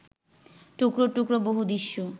টুকরো টুকরো বহু দৃশ্য